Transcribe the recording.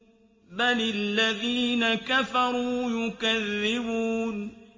بَلِ الَّذِينَ كَفَرُوا يُكَذِّبُونَ